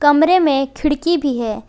कमरे में खिड़की भी है।